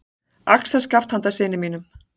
Axarskaft handa syni mínum.